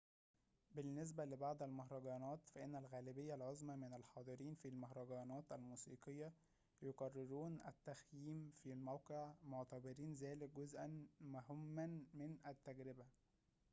بالنسبة لبعض المهرجانات فإن الغالبية العظمى من الحاضرين في المهرجانات الموسيقية يقررون التخييم في الموقع معتبرين ذلك جزءًا مهمًا من التجربة